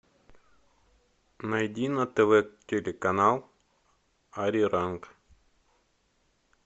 найди на тв телеканал ариранг